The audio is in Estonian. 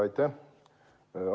Aitäh!